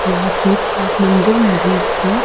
या फिर आप मंदिर में भी इसको--